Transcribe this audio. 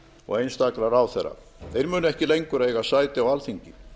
og einstakra ráðherra þeir munu ekki lengur eiga sæti á alþingi